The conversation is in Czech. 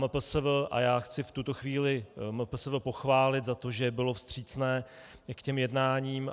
MPSV - a já chci v této chvíli MPSV pochválit za to, že bylo vstřícné k těm jednáním.